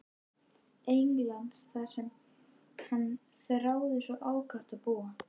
Englands þar sem hann þráði svo ákaft að búa.